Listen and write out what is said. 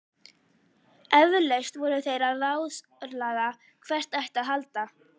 Eflaust voru þeir að ráðslaga hvert ætti að halda.